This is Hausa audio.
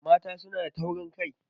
Mata suna da taurin kai